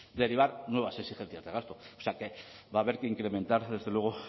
derivar nuevas exigencias de gasto o sea que va a haber que incrementar desde luego